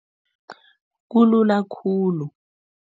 Kulula khulu.